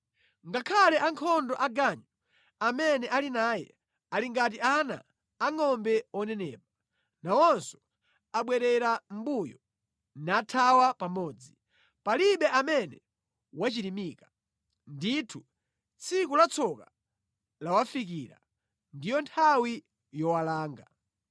Ngakhale ankhondo aganyu amene ali naye ali ngati ana angʼombe onenepa. Nawonso abwerera mʼmbuyo, nathawa pamodzi. Palibe amene wachirimika. Ndithu, tsiku la tsoka lawafikira; ndiyo nthawi yowalanga.